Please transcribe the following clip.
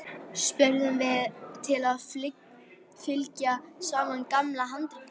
spurðum við til að fylgja sama gamla handritinu.